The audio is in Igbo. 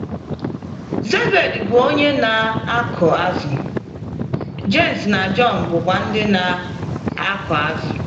Zebedi bụ onye na - akụ azụ̀, Jems na Jọn bụkwa ndị na - akụ azụ̀.